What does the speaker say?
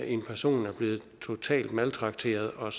en person er blevet totalt maltrakteret og